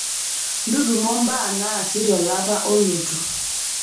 ntutumo mbaa naasi tolapa olotu